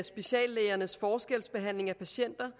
speciallægernes forskelsbehandling af patienter